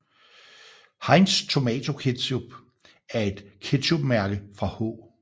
Heinz Tomato Ketchup er et ketchupmærke fra H